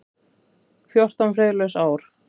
Fjórtán friðlaus ár.